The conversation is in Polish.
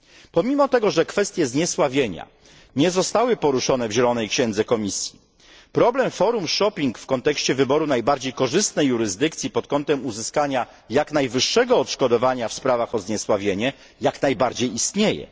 Pomimo tego, że kwestie zniesławienia nie zostały poruszone w zielonej księdze Komisji Europejskiej, problem forum shopping w kontekście wyboru najbardziej korzystnej jurysdykcji pod kontem uzyskania jak najwyższego odszkodowania w sprawach o zniesławienie jak najbardziej istnieje.